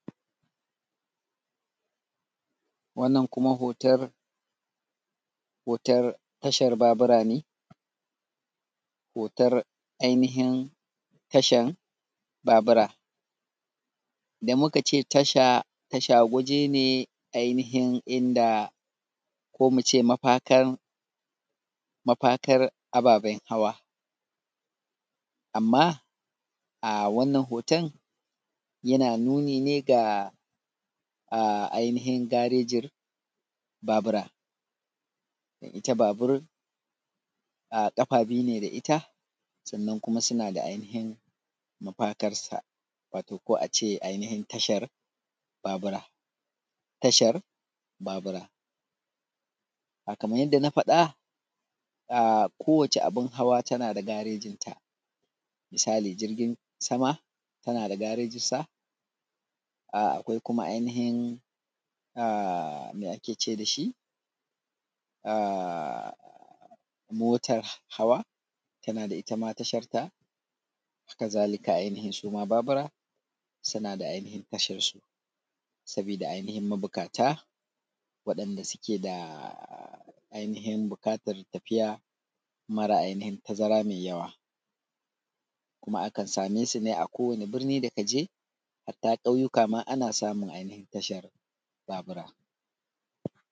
wannan kuma hotar hotar tashar babura ne hotar ainihin tashan babura idan muka ce tasha tasha waje ne ainihin inda ko mu ce mafakan mafakar ababen hawa amma a wannan hoton yana nuni ga ainihin garejin babura ita babur ƙafa biyu ne da ita sannan kuma suna da ainihin mafakarsa wato ko a ce ainihin tashar babura tashar babura a kaman yanda na faɗa kowace abin hawa tana da garejinta misali jirgin sama tana da garejinsa akwai kuma ainihin me ake ce da shi motar hawa tana da ita ma tasharta haka zalika ainihin su ma babura suna da ainihin tasharsu sabida ainihin mabuƙata waɗanda suke da buƙatar tafiya mara ainihin tazara mai yawa kuma akan same su ne a kowane birni da ka je hatta ƙauyuka ma ana samun ainihin tashar babura